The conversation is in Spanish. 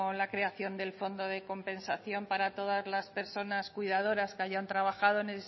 la creación del fondo de compensación para todas las personas cuidadoras que hayan trabajado